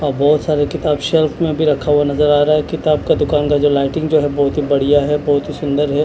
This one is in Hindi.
बहोत सारे किताब सेल्फ में भी रखा हुआ नजर आ रहा है। किताब का दुकान का जो लाइटिंग जो है बहुत ही बढ़िया है बहुत ही सुंदर है।